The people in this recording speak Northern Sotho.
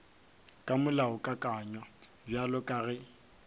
ka molaokakanywa bjalo ka ge